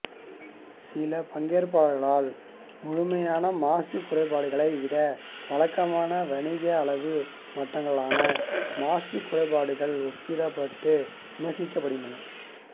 சில பங்கேற்பாளர்களால் முழுமையான மாசு குறைப்புக்களை விட வழக்கமான வணிக அளவு மட்டங்களுடனான மாசு குறைப்புக்கள் ஒப்பிடப்பட்டு விமர்சிக்கப்படுகின்றன